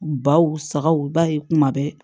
Baw sagaw i b'a ye kuma bɛɛ